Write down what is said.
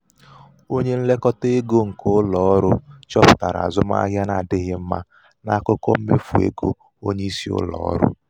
onye nlekọta ego nke ụlọ ọrụ chọpụtara azụmahịa n'adịghị mma n'akụkọ mmefu égo onye isi oche ụlọ ọrụ.